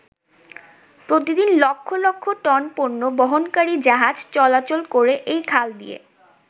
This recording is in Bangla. প্রতিদিন লক্ষ লক্ষ টন পন্য বহনকারী জাহাজ চলাচল করে এই খাল দিয়ে।